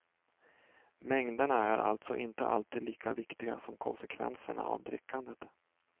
Mängderna är alltså inte alltid lika viktiga som konsekvenserna av drickandet.